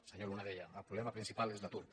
el senyor luna deia el problema principal és l’atur